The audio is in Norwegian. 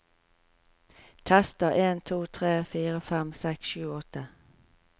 Tester en to tre fire fem seks sju åtte